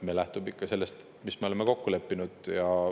Me lähtume ikka sellest, mis me oleme kokku leppinud.